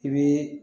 I bii